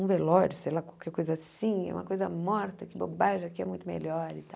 um velório, sei lá, qualquer coisa assim, é uma coisa morta, que bobagem, aqui é muito melhor e tal.